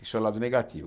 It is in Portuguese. Isso é o lado negativo.